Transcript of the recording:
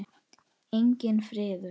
Enginn friður.